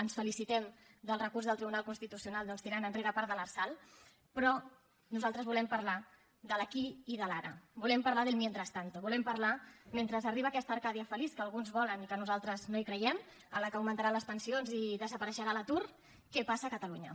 ens felicitem del recurs del tribunal constitucional tirant enrere part de l’lrsal però nosaltres volem parlar de l’aquí i de l’ara volem parlar del mientras tanto volem parlar mentre arriba aquesta arcàdia feliç que alguns volen i en què nosaltres no creiem en què augmentaran les pensions i desapareixerà l’atur de què passa a catalunya